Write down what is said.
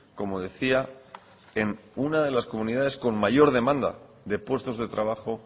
como decía en una de las comunidades con mayor demanda de puestos de trabajo